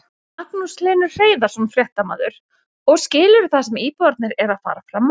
Magnús Hlynur Hreiðarsson, fréttamaður: Og skilurðu það sem íbúarnir eru að fara fram á?